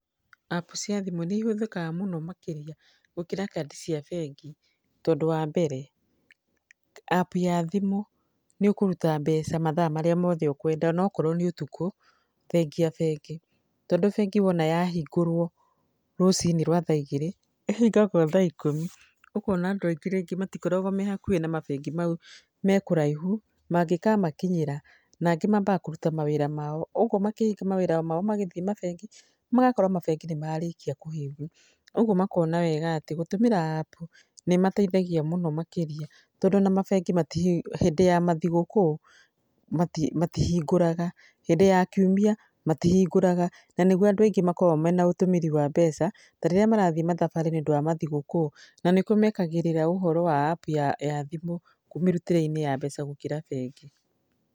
App cia thimũ nĩ ihũthĩkaga mũno makĩria gũkĩra kandi cia bengi tondũ wa mbere, app ya thimũ nĩ ũkũruta mbeca mathaa marĩa mothe ũkwenda onakorwo nĩ ũtukũ thengia bengi, tondũ bengi wona yahingũrwo rũcinĩ rwa thaa igĩrĩ, ĩhingagwo thaa ikũmi ũkona andũ aingĩ rĩngĩ matikoragwo me hakuhĩ na mabengi mau, me kũraihu, mangĩkamakinyĩra , nangĩ mambaga kũruta mawĩra mao, ũguo makĩhinga mawĩra mao magĩthiĩ mabengi magakora mabengi nĩ marĩkia kũhingwo, ũguo makona wega atĩ gũtũmĩra app nĩ ĩmateithagia mũno makĩria tondũ ona mabengi hĩndĩ ya mathigũkũũ matihingũraga, hĩndĩ ya kiumia matihingũraga na nĩguo andũ aingĩ makoragwo mena ũtũmĩri wa mbeca, tarĩrĩa marathi thabarĩ nĩũndũ wa mathigũkũũ na nĩkuo mekagĩrĩra ũhoro wa app ya thimũ mĩrutĩre-inĩ ya mbeca gũkĩra bengi.